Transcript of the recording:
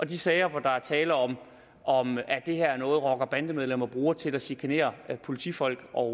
de sager hvor der er tale om om at det her er noget rocker bande medlemmer bruger til at chikanere politifolk og